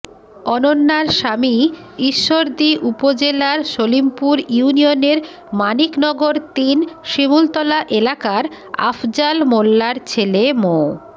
অনন্যার স্বামী ঈশ্বরদী উপজেলার সলিমপুর ইউনিয়নের মানিকনগর তিন শিমূলতলা এলাকার আফজাল মোল্লার ছেলে মো